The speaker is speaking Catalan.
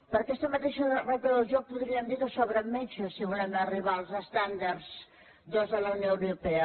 per aquesta mateixa regla del joc podríem dir que sobren metges si volem arribar als estàndards de la unió europea